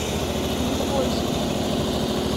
никольску